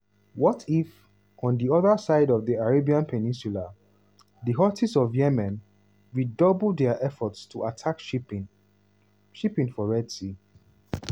what if – on di oda side of di arabian peninsula - di houthis for yemen redouble dia efforts to attack shipping shipping for red sea?